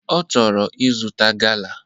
Ochoro izuta gala.